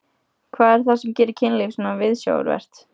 Hvað er það sem gerir kynlíf svona viðsjárvert?